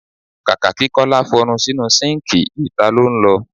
Kàkà kí Kọ́lá f'ọnu sínu síǹkì, ìta lọ́ ń lọ.